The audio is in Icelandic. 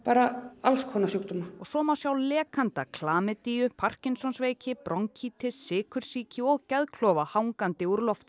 alls konar sjúkdóma og svo má sjá lekanda parkinsonsveiki bronkítis sykursýki og geðklofa hangandi úr lofti